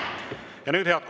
Head kolleegid!